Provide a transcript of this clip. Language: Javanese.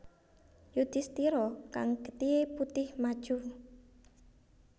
Yudhistira kang getihé putih maju